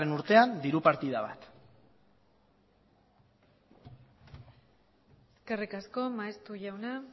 urtean diru partida bat eskerrik asko maeztu jauna